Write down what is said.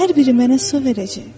Hər biri mənə su verəcək.